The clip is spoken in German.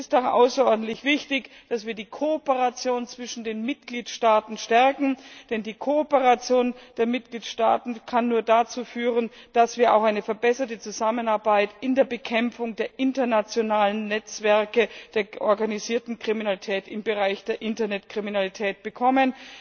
Es ist auch außerordentlich wichtig, dass wir die Kooperation zwischen den Mitgliedstaaten stärken, denn nur die Kooperation der Mitgliedstaaten kann dazu führen, dass wir auch eine verbesserte Zusammenarbeit in der Bekämpfung der internationalen Netzwerke der organisierten Kriminalität, im Bereich der Internetkriminalität bekommen.